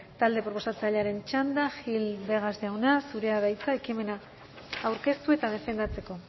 talde proposatzailearen txanda gil vegas jauna zurea da hitza ekimena aurkeztu eta defendatzeko